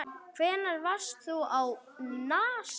Hvenær varst þú á NASA?